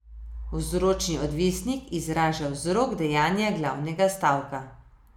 Vzročni odvisnik izraža vzrok dejanja glavnega stavka.